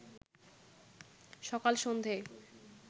সকাল-সন্ধ্যেয়